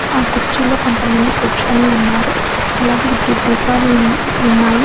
ఆ కుర్చీలో కొంతమంది కూర్చొని ఉన్నారు. అలాగే విద్యుత్ దీపాలు ఉన్-ఉన్నాయి.